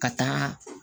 Ka taa